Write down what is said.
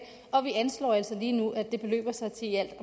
og vi anslår altså lige nu at det beløber sig til i alt